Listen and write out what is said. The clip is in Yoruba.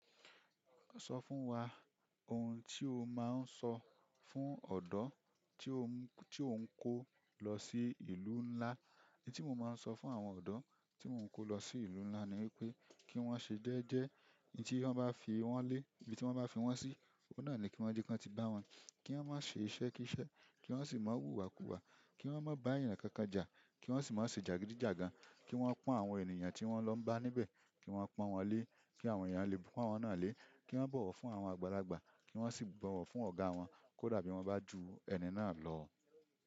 Sọ fún wa ohun tí o máa ń sọ fún ọ̀odẹo tí ò ń kó lọ sí ìlú ńlá. Ohun tí mo máa ń sọ fún àwọn ọ̀dọ́ tí mò ń kó lọ sí ìlú ńlá ni wípé kí wón ṣe jẹ́ẹ́jẹ́, ibi tí wón bá fi wón lé, ibi tí wón bá fi wón sí, oọ̀nà ni kí wón jẹ́ kí wón ti bá wọn. Kí wón má ṣe iṣẹ́ kí iṣẹ́, kí wọ́n sì má wù ìwà kuwà, kí wọ́n má bá ènìyàn kankan jà, kí wọ́n sì má ṣe jàgídíjàgan, kí wọ́n pọ́n àwọn ènìyàn tí wọ́n lọ bá níbẹ̀, kí wọ́n pọ́n wọn lé, kí àwọn ènìyàn lè bu wọn náà lé, kí wọ́n bọ̀wọ̀ fún àwọn àgbàlagbà, kí wọ́n sì bọ̀wọ̀ fún ọ̀gá wọn kódà bí wọn bá ju ẹni náà lọ.